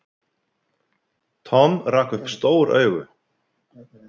Tom rak upp stór augu.